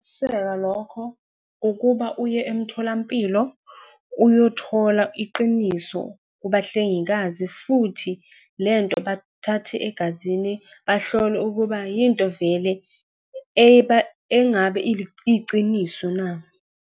lokho ukuba uye emtholampilo, uyothola iqiniso kubahlengikazi. Futhi lento bathathe egazini, bahlole ukuba yinto vele engabe iyiciniso na?